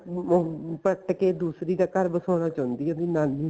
ਉਹ ਪਟ ਕੇ ਦੂਸਰੀ ਦਾ ਘਰ ਵਸਾਉਣਾ ਚਾਉਂਦੀ ਏ ਵੀ ਨਾਨੀ